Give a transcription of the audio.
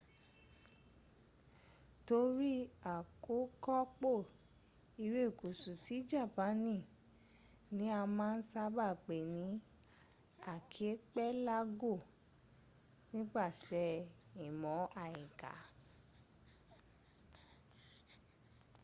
torí àkókọpọ̀ irékusú tí japaani ní a máa n sába pe ní akipelago nípasẹ̀ ìmọ̀ àyíká